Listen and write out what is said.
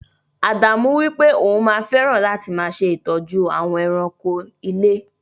Ádámù wípé òun máa fẹràn láti máa ṣe ìtọ́jú àwọn èràńko ilé.